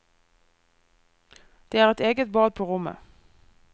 Det er eget bad på rommet.